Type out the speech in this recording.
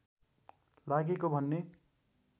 लागेको भन्ने